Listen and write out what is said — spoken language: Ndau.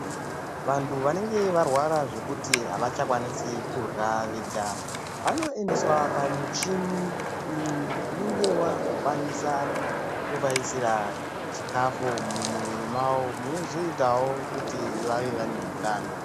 Vantu vanenge varwara zvekuti havachakwanisi kurywa vega, vanoendeswa pamuchini unenge wakukwanisa kuvaisira chikafu mumumwiri mwavo munozoitawo kut vave vane utano.